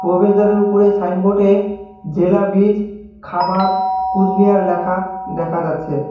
প্রবেশদ্বারের উপরে সাইনবোর্ডে জেলা বীজ খামার কুসবিহার ল্যাখা দেখা যাচ্ছে।